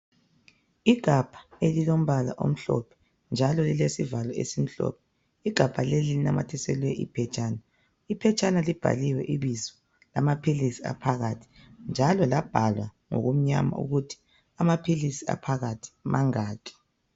Igabha elilombala omhlophe njalo lilesivalo esimhlophe. Igabha leli linamathiselwe iphetshana. Iphetshana libhaliwe ibizo lamaphilisi aphakathi njalo labhalwa ngokumnyama ukuthi amaphilisi aphakathi mangaki.